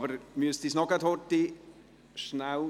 Aber Sie müssen uns gerade noch kurz Zeit geben.